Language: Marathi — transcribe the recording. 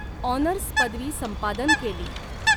ऑनर्स पदवी संपादन केली.